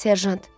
Serjant.